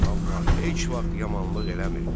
Amma heç vaxt yamanlıq eləmirdi.